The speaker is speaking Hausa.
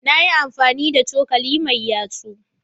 Na yi amfani da cokali mai yatsu.